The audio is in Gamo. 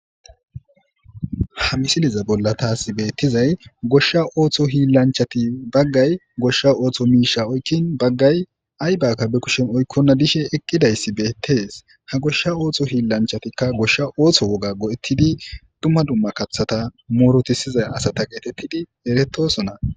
Goshsha oththo hillanchati baggay goshsha oththo mishsha be kushshen oyikin baggay ayzika oyikonna eqidayssi bettes.ha goshsha oththo hillanchatikka goshsha oththo mishsha go'ettidi dumma dumma kaththata murutisizayssa gettetidi eretosonna.